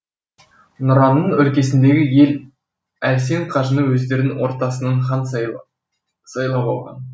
нұраның өлкесіндегі ел әлсен қажыны өздерінің ортасынан хан сайлап алған